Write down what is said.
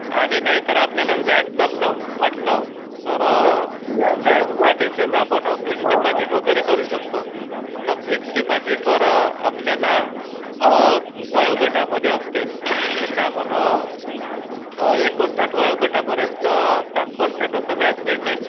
आणि नाहीतर आपल्याला व्याज दर वाटल तर समजा त्यासाठी आपण फिकस्ड डीपोसिट वगैरे करू शकतो. तर फिकस्ड डीपोसिटमध्ये आपल्याला वयोगटामध्ये असते जसे आपण एकोणसाठ वयोगटपर्यंत सात पर्सेंट असं व्याज मिळते